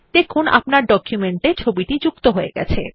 দেখুন আপনার ডকুমেন্ট এ ছবিটি যুক্ত হয়ে গেছে